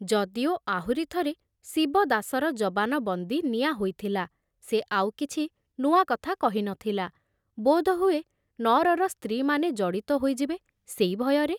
ଯଦିଓ ଆହୁରି ଥରେ ଶିବଦାସର ଜବାନବନ୍ଦୀ ନିଆ ହୋଇଥିଲା, ସେ ଆଉ କିଛି ନୂଆ କଥା କହି ନ ଥିଲା, ବୋଧହୁଏ ନଅରର ସ୍ତ୍ରୀମାନେ ଜଡ଼ିତ ହୋଇଯିବେ, ସେଇ ଭୟରେ।